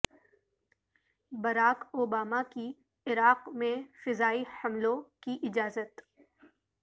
Barack Obama کی Iraq میں فضائی حملوں کی اجازت